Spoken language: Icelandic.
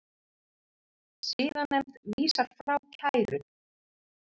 Siðanefnd vísar frá kæru